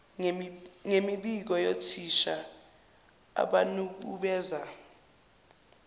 ngemibiko yothisha abanukubeza